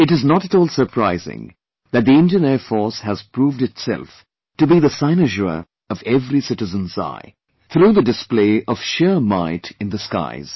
It is not at all surprising that the Indian Air Force has proved itself to be the cynosure of every citizen's eye, through the display of sheer might in the skies